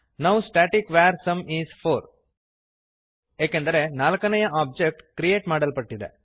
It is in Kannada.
now static var sum is 4 ಏಕೆಂದರೆ 4 ನೆಯ ಒಬ್ಜೆಕ್ಟ್ ಕ್ರಿಯೇಟ್ ಮಾಡಲ್ಪಟ್ಟಿದೆ